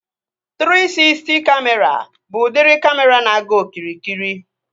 Trii Sisty Kamịra bụ udiri kamịra na-aga okirikiri